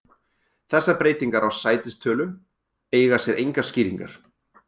Þessar breytingar á sætistölu eiga sér skýringar.